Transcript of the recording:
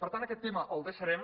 per tant aquest tema el deixarem